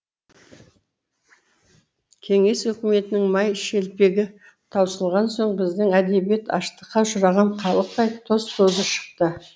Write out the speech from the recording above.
кеңес үкіметінің май шелпегі таусылған соң біздің әдебиет аштыққа ұшыраған халықтай тоз тозы шықты